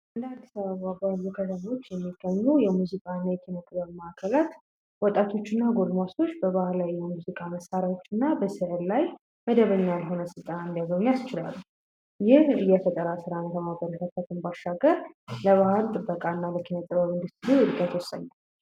እንደ አዲስ አበባ ባሉ ከተሞች የሚገኙ የሙዚቃና የኪነጥበብ ማዕከላት ወጣቶች እና ጎልማሶች በባህላዊ የሙዚቃ መሳሪያዎች እና በስዕል ላይ መደበኛ ያልሆኑ ስልጠና እንዲያገኙ ያስችላል። ይህ የፈጠራ ሥራ ማከናወን ይጠበቅብናል ባሻገር ለባህል ጥበቃና በኪነ ጥበብ እንዱስትሪ እድገት ወስኝ ነው።